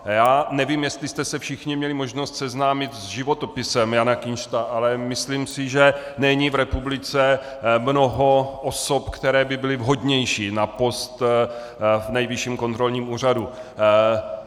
Já nevím, jestli jste se všichni měli možnost seznámit s životopisem Jana Kinšta, ale myslím si, že není v republice mnoho osob, které by byly vhodnější na post v Nejvyšším kontrolním úřadu.